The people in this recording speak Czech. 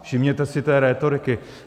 Všimněte si té rétoriky.